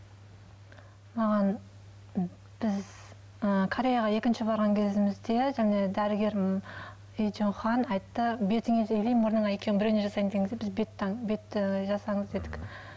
маған біз ы кореяға екінші барған кезімізде және дәрігердің айтты бетіңе или мұрныңа екеуінің біреуіне жасаймыз деген кезде біз бетті жасаңыз дедік